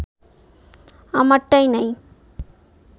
আমারটাই নাই